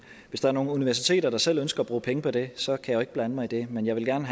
hvis der er nogle universiteter der selv ønsker at bruge penge på det så kan jeg jo ikke blande mig i det men jeg vil gerne